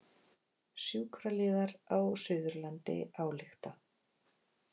Sjúkraliðar á Suðurlandi álykta